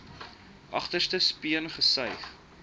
agterste speen gesuig